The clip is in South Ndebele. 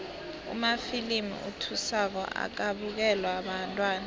amafilimu athusako akabukelwa bantwana